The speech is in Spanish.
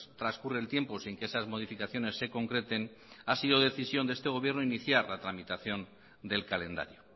transcurre el tiempo sin que esas modificaciones se concreten ha sido decisión de este gobierno iniciar la tramitación del calendario